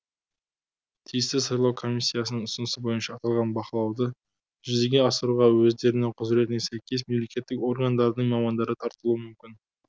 тиісті сайлау комиссиясының ұсынысы бойынша аталған бақылауды жүзеге асыруға өздерінің құзыретіне сәйкес мемлекеттік органдардың мамандары тартылуы мүмкін